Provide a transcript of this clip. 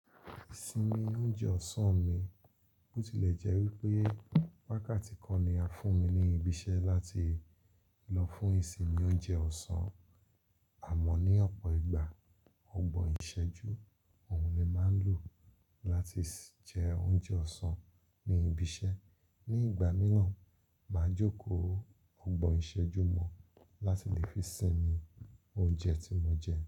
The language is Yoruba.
Ìsinmi oúnjẹ ọ̀sán mi, bó tilẹ̀ jẹ́ wípé waka tí kán ní a fún mi ní ibi iṣẹ́ láti lọ fún ìsinmi oúnjẹ ọ̀sán, àmọ́ ní ọ̀pọ̀ ìgbà ọgbọ́n ìṣẹ́jú òun ni màá ń lò láti jẹ oúnjẹ ọ̀sán ní ibi iṣẹ́. Ní ìgbà míràn, màá jókòó ọgbọ́n ìṣẹ́jú mọ̀ láti lè fi sinmi oúnjẹ tí mo jẹ́.